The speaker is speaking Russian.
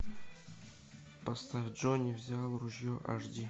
поставь джонни взял ружье аш ди